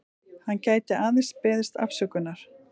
Hann gæti aðeins beðist afsökunar